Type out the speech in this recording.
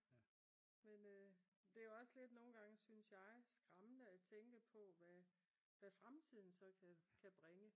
Men der er jo også lidt nogen gange synes jeg skræmmende at tænke på hvad fremtiden så kan bringe